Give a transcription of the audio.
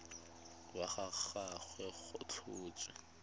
wa ga gagwe go tlhotswe